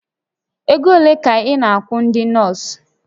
Ego ole ka a na-akwụ ndị nọọsụ?